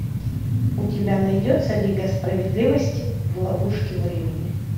у тебя найдется лига справедливости в ловушке времени